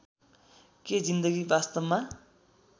के जिन्दगी वास्तवमा